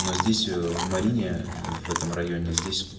но здесь ээ в марине ээ в этом районе здесь